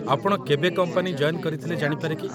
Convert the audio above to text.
ଆପଣ କେବେ company join କରିଥିଲେ ଜାଣିପାରେ କି?